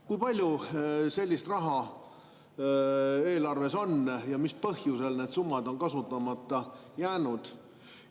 Kui palju sellist raha eelarves on ja mis põhjusel need summad on kasutamata jäänud?